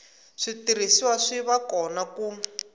switirhisiwa swi va kona ku